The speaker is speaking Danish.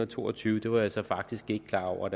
to og tyve var jeg så faktisk ikke klar over